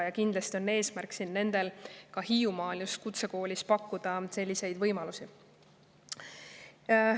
Ja kindlasti tahetakse Hiiumaal just kutsekoolis pakkuda selleks võimalusi.